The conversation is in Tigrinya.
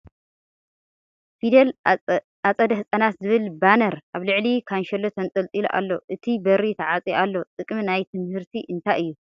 ፍዴል ኣፀደ ህፃናት ዝብል ባነር ኣብ ልዕሊ ካንሸሎ ተንጠልጢሉ እሎ ። እቲ በሪ ተዓፅዩ ኣሎ ። ጥቅሚ ናይ ትምህርቲ እንታይ እዩ ?